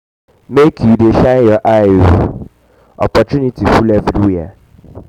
make you dey shine your eyes o opportunity full everywhere. um